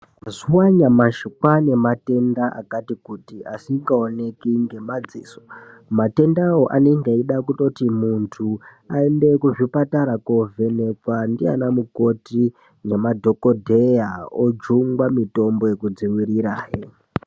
Mazuwa anyamashi kwane matenda akati kuti asinga oneki ngema dziso matendawo anenge eida kutori mundu aende kuzvipatara kovhenakwa ndi ana mukoti nema dhokoteya ojungwa mitombo yeku dziwirira hee.